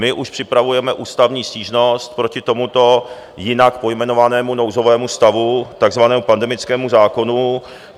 My už připravujeme ústavní stížnost proti tomuto jinak pojmenovanému nouzovému stavu, takzvanému pandemickému zákonu.